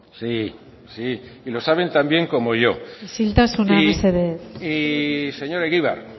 sí lo saben tan bien como yo isiltasuna mesedez y señor egibar